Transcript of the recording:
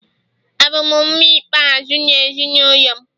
Abụ m nwa ikpeazụ n’ezinụlọ m